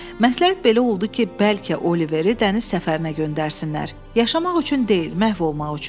Məsləhət belə oldu ki, bəlkə Oliveri dəniz səfərinə göndərsinlər, yaşamaq üçün deyil, məhv olmaq üçün.